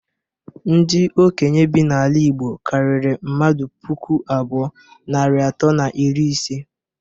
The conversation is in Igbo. Ndi okenye bi n'ala igbo karịrị mmadụ puku abụọ, narị atọ na iri ise.